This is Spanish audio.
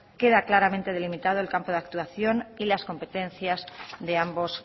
queda claramente delimitado el campo de actuación y de las competencias de ambos